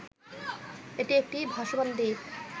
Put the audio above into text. এটি একটি ভাসমান দ্বীপ